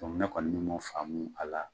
ne kɔni bɛ faamu a la